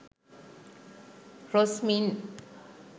rosmin